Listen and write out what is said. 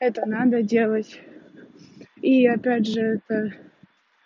это надо делать